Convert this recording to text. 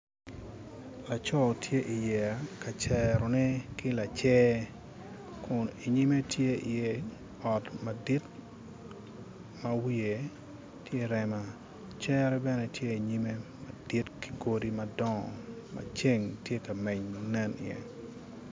Lacoo tye i iyeya ka cerone ki lacer kun inyime tye i iye ot madit ma wiye tye rema cere bene tye inyime madit ki godi madongo ma ceng tye ka meny ma nen iye